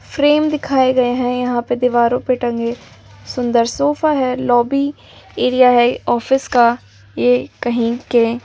frame दिखाए गए हैं यहां पे दीवारों पे टंगे सुंदर सोफ़ा है लॉबी एरिया है ऑफिस का ये कहीं के--